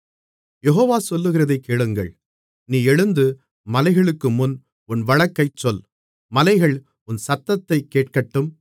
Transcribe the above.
யெகோவா சொல்லுகிறதைக் கேளுங்கள் நீ எழுந்து மலைகளுக்குமுன் உன் வழக்கைச் சொல் மலைகள் உன் சத்தத்தைக் கேட்கட்டும்